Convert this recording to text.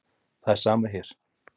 Það er sama hér.